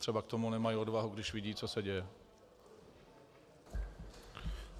Třeba k tomu nemají odvahu, když vidí, co se děje.